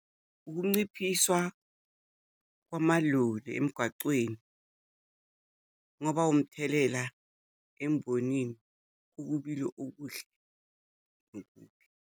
Ukunciphiswa kwamaloli emgwacweni kungaba umthelela embonini, ukubili okuhle .